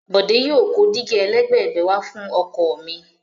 Bòdé yóò kó dígí ẹlẹ́gbẹ̀gbẹ̀ wà fún ọkọ̀ mi.